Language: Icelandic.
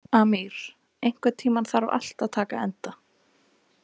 Amír, einhvern tímann þarf allt að taka enda.